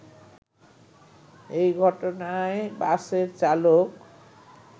এ ঘটনায় বাসের চালক